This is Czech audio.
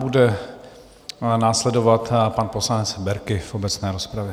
Bude následovat pan poslanec Berki v obecné rozpravě.